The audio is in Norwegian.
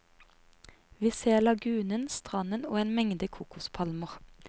Vi ser lagunen, stranden og en mengde kokospalmer.